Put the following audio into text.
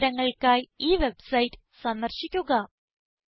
കൂടുതൽ വിവരങ്ങൾക്കായി ഈ വെബ്സൈറ്റ് സന്ദർശിക്കുക